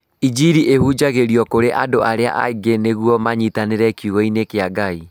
Injiri ĩhunjagio kũrĩ andũ arĩa angĩ nĩguo manyitanĩre kiugo-inĩ kĩa Ngai.